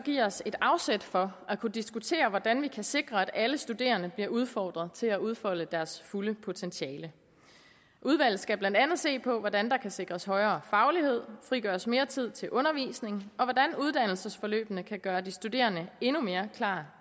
give os et afsæt for at diskutere hvordan vi kan sikre at alle studerende bliver udfordret til at udfolde deres fulde potentiale udvalget skal blandt andet se på hvordan der kan sikres højere faglighed frigøres mere tid til undervisning og hvordan uddannelsesforløbene kan gøre de studerende endnu mere klar